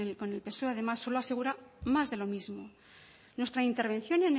con el psoe además solo asegura más de lo mismo nuestra intervención